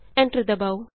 enter ਦਬਾਉ